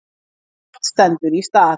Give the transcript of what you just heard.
Ekkert stendur í stað.